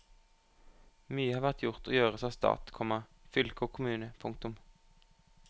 Mye har vært gjort og gjøres av stat, komma fylke og kommune. punktum